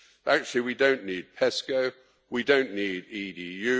Actually we don't need PESCO, we don't need EDU